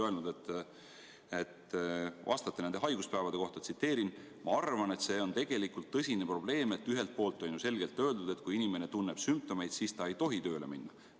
Te ütlesite nendest haiguspäevadest rääkides: "Ma arvan, et see on tegelikult tõsine probleem, et ühelt poolt on ju selgelt öeldud, et kui inimene tunneb sümptomeid, siis ta ei tohi tööle minna.